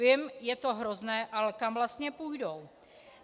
Vím, je to hrozné, ale kam vlastně půjdou?